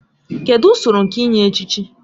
Kedụ usoro nke inye echichi?